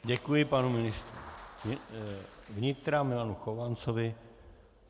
Děkuji panu ministrovi vnitra Milanu Chovancovi.